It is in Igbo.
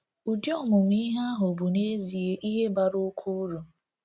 Udi ọmụmụ ihe ahụ bụ n’ezie ihe bara oké uru.